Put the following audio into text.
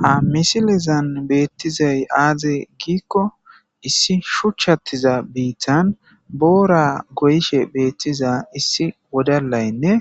Ha misilezan beettizay aaze giikko issi shuchchattiza biittan boora goyishe beettiza issi wodalaynne